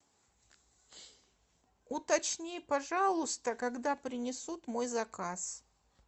уточни пожалуйста когда принесут мой заказ